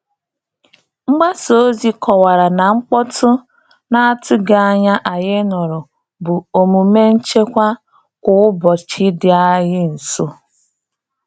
Mgbasa ozi kọwara na mkpọtụ na-atụghị anya anyị nụrụ bụ omume nchekwa kwa ụbọchị dị anyị nso.